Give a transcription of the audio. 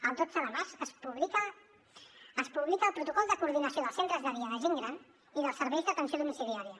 el dotze de març es publica el protocol de coordinació dels centres de dia de gent gran i dels serveis d’atenció domiciliària